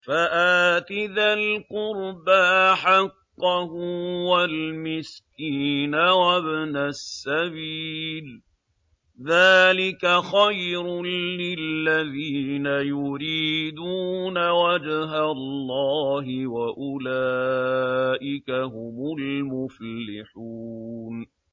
فَآتِ ذَا الْقُرْبَىٰ حَقَّهُ وَالْمِسْكِينَ وَابْنَ السَّبِيلِ ۚ ذَٰلِكَ خَيْرٌ لِّلَّذِينَ يُرِيدُونَ وَجْهَ اللَّهِ ۖ وَأُولَٰئِكَ هُمُ الْمُفْلِحُونَ